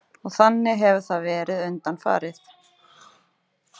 Og þannig hefur það verið undanfarið?